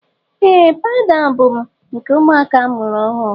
Ee pawuda ahụ bụ nke ụmụaka a mụrụ ọhụụ.